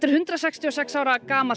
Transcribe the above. hundrað sextíu og sex ára gamalt